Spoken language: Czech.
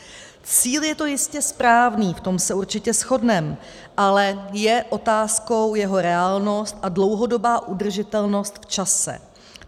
Cíl je to jistě správný, v tom se určitě shodneme, ale je otázkou jeho reálnost a dlouhodobá udržitelnost v čase.